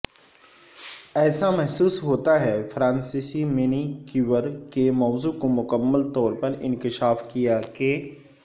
ایسا محسوس ہوتا فرانسیسی مینیکیور کے موضوع کو مکمل طور پر انکشاف کیا کہ